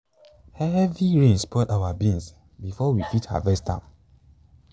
heavy rain spoil our beans before we fit harvest am.